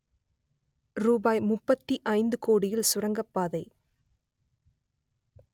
ரூபாய் முப்பத்தி ஐந்து கோடியில் சுரங்கப்பாதை